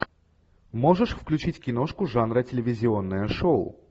можешь включить киношку жанра телевизионное шоу